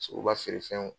So ka feere fɛnw